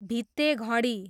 भित्ते घडी